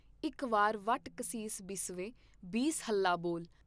ਇਕ ਵਾਰ ਵੱਟ ਕਸੀਸ ਬਿਸਵੇ ਬੀਸ ਹੱਲਾ ਬੋਲ।